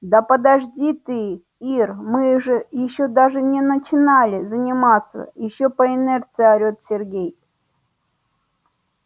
да подожди ты ир мы же ещё даже не начали заниматься ещё по инерции орет сергей